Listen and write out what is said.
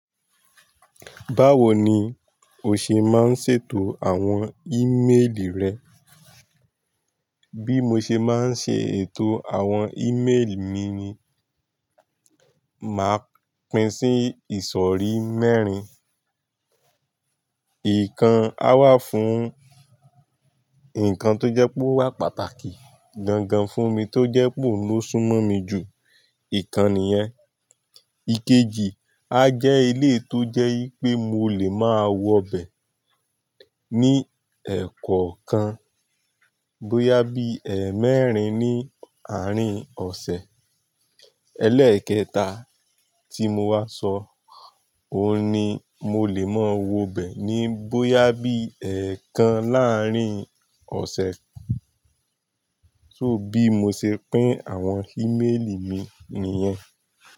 Báwo ni o ṣe máa ń ṣètò àwọn ímeèlì rẹ? Bí mo ṣe máa ń ṣe ètò àwọn ímeèlì mi ni, màá pín sí ìsọ̀rí mẹ́rin. Ìkan á wà fún nǹkan tó jẹ́ pé ó wà pàtàkì gangan fún mi tó jẹ́ pé ó ló súnmọ́ mi jù, ìkan nìyẹn. Ikeji á jẹ́ eléyii tó jẹ́ yí pé mo lè máa wọ bẹ̀ ní ẹ̀kọ̀ kan bóyá bí ẹ̀ẹ́mẹ́rin ní àárín ọ̀sẹ̀. Elẹ́ẹ̀kẹta tí mo wá sọ, òun ni mo lè máa wọ bẹ̀ ní bóyá bí ẹ̀ẹ̀kan láàrín ọ̀sẹ̀. So bí mo ṣe pín àwọn ímeèlì mi nìyẹn.